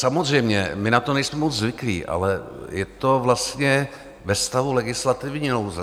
Samozřejmě, my na to nejsme moc zvyklí, ale je to vlastně ve stavu legislativní nouze.